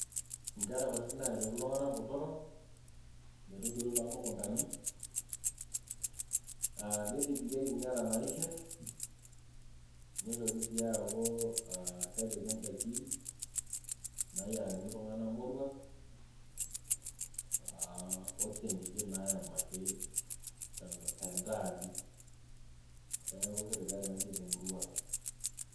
Nkera kutitik naretok iltunganak botorok metuturu too mukuntani aa nitigirieki inkera naishir ,nitoki sii aaku kepiki indaiki nayierakini iltunganak moruak aa osiankikin nayemaki tentaani .niaku kitobiri Ina siai te murrua Ang .